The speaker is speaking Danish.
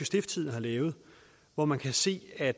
stiftstidende har lavet hvor man kan se af